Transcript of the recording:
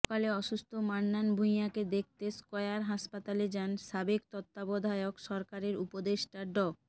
সকালে অসুস্থ মান্নান ভূঁইয়াকে দেখতে স্কয়ার হাসপাতালে যান সাবেক তত্ত্বাবধায়ক সরকারের উপদেষ্টা ড